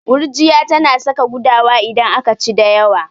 Gurjiya tana saka gudawa idan aka ci da yawa.